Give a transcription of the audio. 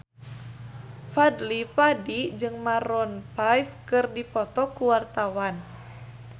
Fadly Padi jeung Maroon 5 keur dipoto ku wartawan